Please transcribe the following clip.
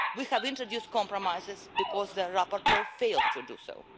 We have introduced compromises because the rapporteur failed to do so.